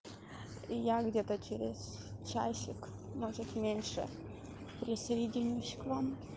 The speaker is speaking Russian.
я где-то через часик может меньше присоединюсь к вам